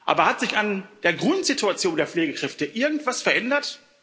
Aber hat sich an der Grundsituation der Pflegekräfte irgendwas verändert?